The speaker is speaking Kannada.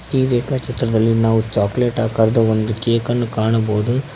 ಈ ರೇಖಾ ಚಿತ್ರದಲ್ಲಿ ನಾವು ಚಾಕಲೇಟ್ ಆಕಾರದ ಒಂದು ಕೇಕನ್ನು ಕಾಣಬಹುದು.